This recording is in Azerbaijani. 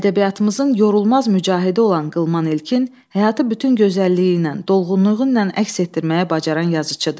Ədəbiyyatımızın yorulmaz mücahidi olan Qılman İlkin həyatı bütün gözəlliyi ilə, dolğunluğu ilə əks etdirməyi bacaran yazıçıdır.